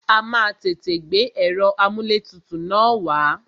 A má a tètè gbé ẹ̀rọ amúlẹ̀tutù na wá.